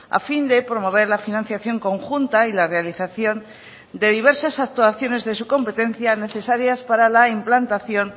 a fin de promover la financiación conjunta y la realización de diversas actuaciones de su competencia necesarias para la implantación